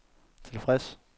tilfreds